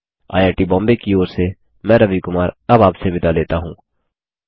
IIT Bombay की ओर से मैं रवि कुमार अब आपसे विदा लेता हूँ